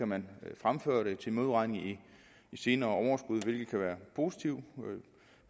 man fremføre det til modregning i senere overskud hvilket kan være positivt